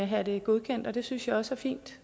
have det godkendt og det synes jeg også er fint